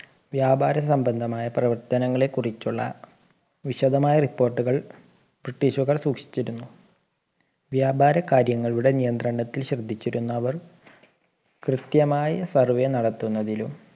വ്യാപാര സംബന്ധമായ പ്രവർത്തനങ്ങളെ കുറിച്ചുള്ള വിശദമായ report കൾ british കാർ സൂക്ഷിച്ചിരുന്നു വ്യാപാര കാര്യങ്ങളുടെ നിയന്ത്രണത്തിൽ ശ്രദ്ധിച്ചിരുന്ന അവർ കൃത്യമായി survey നടത്തുന്നതിലും